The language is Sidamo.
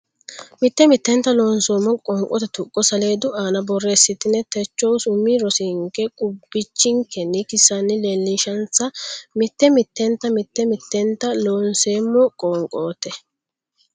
Mitte mittenta Looseemmo qoonqote tuqqo saleedu aana borreessite techohu umi rosinke qubbichikkinni kissanni leellishinsa Mitte mittenta Mitte mittenta Looseemmo qoonqote.